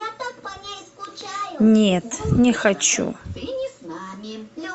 нет не хочу